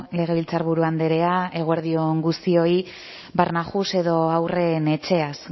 legebiltzarburu andrea eguerdi on guztioi barnahus edo haurren etxeaz